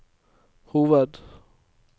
hoved